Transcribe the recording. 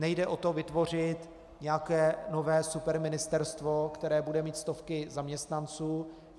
Nejde o to vytvořit nějaké nové superministerstvo, které bude mít stovky zaměstnanců.